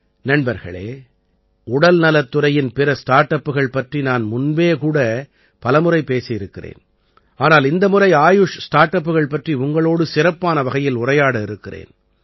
நண்பர்களே உடல்நலத் துறையின் பிற ஸ்டார்ட் அப்புகள் பற்றி நான் முன்பே கூட பலமுறை பேசியிருக்கிறேன் ஆனால் இந்த முறை ஆயுஷ் ஸ்டார்ட் அப்புகள் பற்றி உங்களோடு சிறப்பான வகையில் உரையாட இருக்கிறேன்